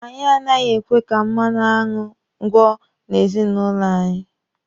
Anyị anaghị ekwe ka mmanụ aṅụ gwọ n'ezinụlọ anyị.